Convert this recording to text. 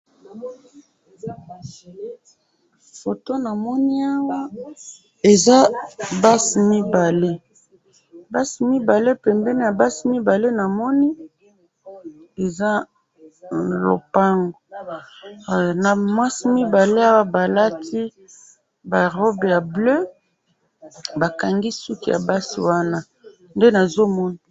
photo namoni awa eza basi mibale,,basi mibale pembeni ya basi mibale namoni eza lopangu namwasi mibale wa balati ba robe ya bleu bakangi basouki wana ya basi nde nazo komona